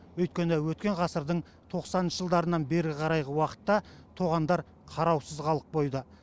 өйткені өткен ғасырдың тоқсаныншы жылдарынан бері қарайғы уақытта тоғандар қараусыз қалып қойды